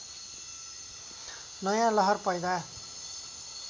नयाँ लहर पैदा